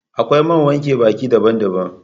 Akwai man wanke baki daban daban